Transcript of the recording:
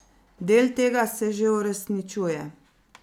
Del tega se že uresničuje.